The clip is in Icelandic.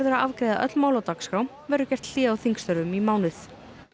að afgreiða öll mál á dagskrá verður gert hlé á þingstörfum í mánuð